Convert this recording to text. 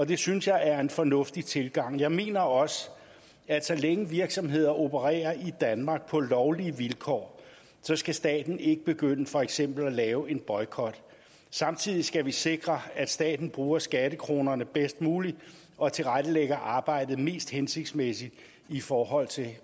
det synes jeg er en fornuftig tilgang jeg mener også at så længe virksomheder opererer i danmark på lovlige vilkår skal staten ikke begynde for eksempel at lave en boykot samtidig skal vi sikre at staten bruger skattekronerne bedst muligt og tilrettelægger arbejdet mest hensigtsmæssigt i forhold til